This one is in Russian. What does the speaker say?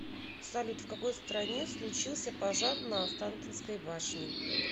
салют в какой стране случился пожар на останкинской башне